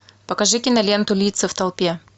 покажи киноленту лица в толпе